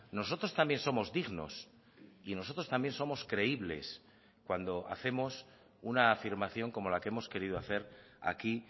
nosotros también somos dignos y nosotros también somos creíbles cuando hacemos una afirmación como la que hemos querido hacer aquí